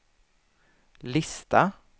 lista